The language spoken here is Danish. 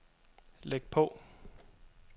læg på